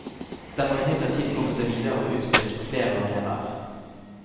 Den må imidlertid komme seg videre og utspilles på flere arenaer.